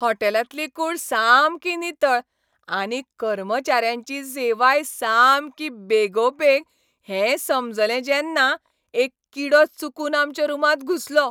हॉटेलांतली कूड सामकी नितळ, आनी कर्मचाऱ्यांची सेवाय सामकी बेगोबेग हेंय समजलें जेन्ना एक किडो चुकून आमच्या रुमांत घुसलो,